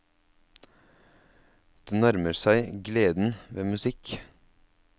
Det nærmer seg gleden ved musikk.